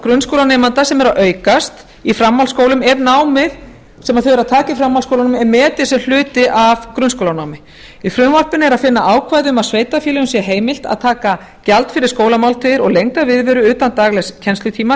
nám grunnskólanemenda sem er að aukast í framhaldsskólum er námið sem þau eru að taka í framhaldsskólunum er metið sem hluti af grunnskólanámi í frumvarpinu er að finna ákvæði um að sveitarfélögum sé heimilt að taka gjald fyrir skólamáltíðir og lengda viðveru utan daglegs kennslutíma